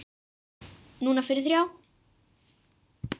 Núna fyrir þrjá.